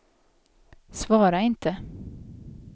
svara inte